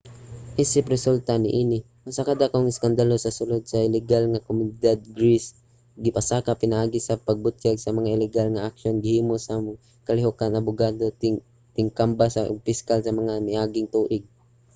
isip resulta niini usa ka dakong iskandalo sa sulod sa ligal nga komunidad sa greece ang gipasaka pinaagi sa pagbutyag sa mga iligal nga aksyon nga gihimo sa mga kalihukan abogado tigkambas ug piskal sa mga miaging tuig